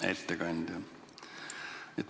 Hea ettekandja!